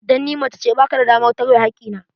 Dan ni macece, ba ka da damar tawye hakki na.